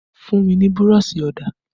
Fun mi ni burọ̀ṣì ọ̀dà!